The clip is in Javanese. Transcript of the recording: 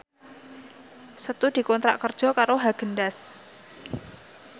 Setu dikontrak kerja karo Haagen Daazs